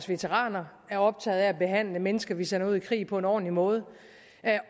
veteraner er optaget af at behandle mennesker vi sender ud i krig på en ordentlig måde